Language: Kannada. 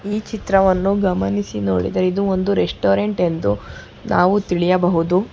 ಈ ಚಿತ್ರವನ್ನು ಗಮನಿಸಿ ನೋಡಿದರೆ ಇದು ಒಂದು ರೆಸ್ಟೋರೆಂಟ್ ಎಂದು ನಾವು ತಿಳಿಯಬಹುದು.